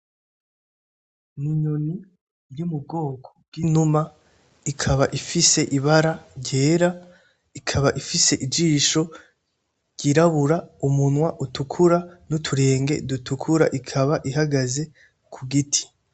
N,inyoni iri mu bwoko bw,inuma ikaba ifise ibara ry'era ikaba ifise ijisho ryirabura umunwa utukura n,uturenge dutukura ikaba ihagaze ku giti.